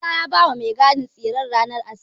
Isa ya bawa mai gadin tsirren ranar Asabar.